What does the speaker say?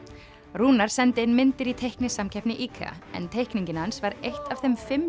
Rúnar sendi inn myndir í teiknisamkeppni IKEA en teikningin hans var eitt af þeim fimm